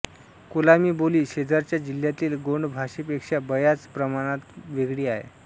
कोलामी बोली शेजारच्या जिल्ह्यातील गोंड भाषे पेक्षा बयाच प्रमाणात वेगळी आहे